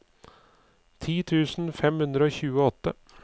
ti tusen fem hundre og tjueåtte